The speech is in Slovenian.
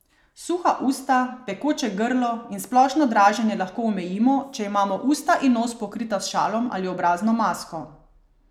Suha usta, pekoče grlo in splošno draženje lahko omejimo, če imamo usta in nos pokrita s šalom ali obrazno masko.